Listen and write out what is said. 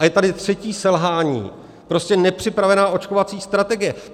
A je tady třetí selhání, prostě nepřipravená očkovací strategie.